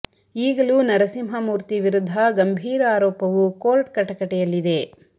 ಈಗಲೂ ನರಸಿಂಹ ಮೂರ್ತಿ ವಿರುದ್ಧ ಗಂಭೀರ ಆರೋಪವು ಕೋರ್ಟ್ ಕಟಕಟೆ ಯಲ್ಲಿದೆ